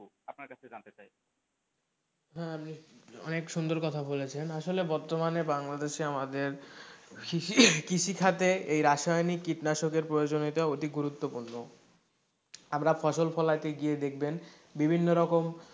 হ্যাঁ, অনেক সুন্দর কথা বলেছেন আসলে বর্তমানে বাংলাদেশে আমাদের অনেক কৃষি খাতে এই রাসায়নিক কীটনাশকের প্রয়োজনীয়তা অতি গুরুত্ব পূর্ণ, আমরা ফসল ফলাইতে গিয়ে দেখবেন বিভিন্ন রকম,